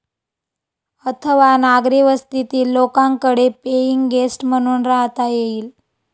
अथवा नागरी वस्तीतील लोकांकडे पेईंग गेस्ट म्हणून राहता येईल.